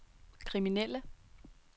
kriminelle